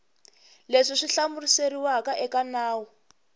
leswi swi hlamuseriwaka eka nawu